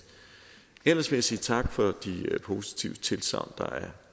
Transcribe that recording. ellers vil jeg sige tak for de positive tilsagn der er